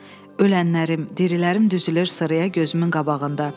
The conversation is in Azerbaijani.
Ölənlərim, dirilərim düzülür sıraya gözümün qabağında.